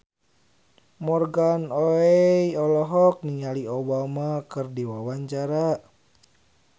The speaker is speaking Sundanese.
Morgan Oey olohok ningali Obama keur diwawancara